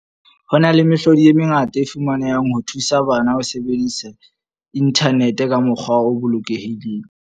Ho na le mehlodi e mengata e fumanehang ho thusa bana ho sebedisa inthanete ka mokgwa o bolokehileng.